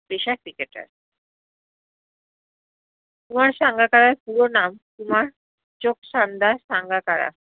পেশায় cricketer কুমার সাঙ্গাকারার পুরো নাম কুমার চোকশানদা সাঙ্গাকারা